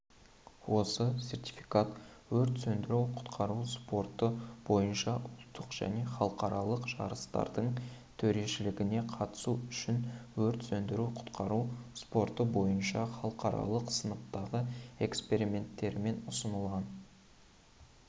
осы сертификат өрт сөндіру-құтқару спорты бойынша ұлттық және халықаралық жарыстардың төрешілігіне қатысу үшін өрт сөндіру-құтқару спорты бойынша халықаралық сыныптағы экспертерімен ұсынылған